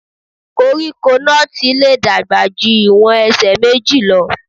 Koríko nọ́ọ̀tì lè dàgbà ju ìwọ̀n ẹsẹ̀ méjì lọ.